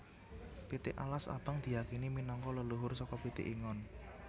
Pitik alas abang diyakini minangka leluhur saka pitik ingon